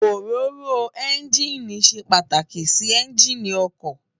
Óróró ènjiní sé pàtákí si ènjiní òkò